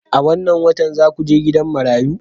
A wannan watan za ku je gidan marayu?